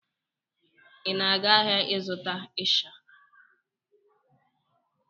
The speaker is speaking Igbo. Ị na-aga ahịa ịzụta ịsha?